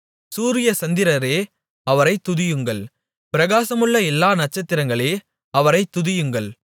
சூரிய சந்திரரே அவரைத் துதியுங்கள் பிரகாசமுள்ள எல்லா நட்சத்திரங்களே அவரைத் துதியுங்கள்